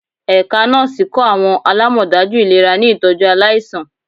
Ẹka Nọọsi kọ awọn alamọdaju ilera ni itọju alaisan